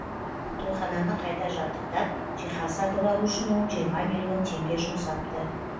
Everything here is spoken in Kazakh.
тойхананы қайта жабдықтап жиһаз сатып алу үшін ол жиырма миллион теңге жұмсапты